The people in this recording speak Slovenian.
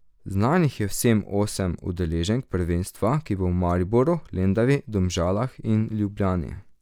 Znanih je vseh osem udeleženk prvenstva, ki bo v Mariboru, Lendavi, Domžalah in Ljubljani.